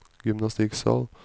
gymnastikksal